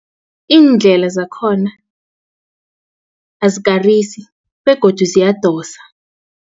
Iindlela zakhona azikarisi begodu ziyadosa.